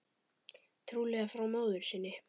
Trúlega frá móður sinni.